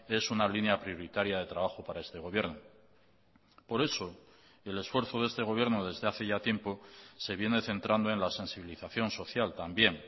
es una línea prioritaria de trabajo para este gobierno por eso el esfuerzo de este gobierno desde hace ya tiempo se viene centrando en la sensibilización social también